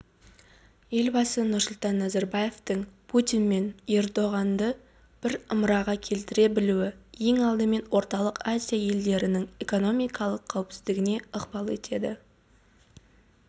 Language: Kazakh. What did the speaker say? елбасы нұрсұлтан назарбаевтың путин мен ердоғанды бір ымыраға келтіре білуі ең алдымен орталық азия елдерінің экономикалық қауіпсіздігіне ықпал етеді